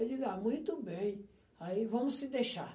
Eu digo, ah, muito bem, aí vamos se deixar.